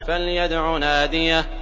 فَلْيَدْعُ نَادِيَهُ